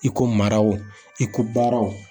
I ko maraw i ko baaraw.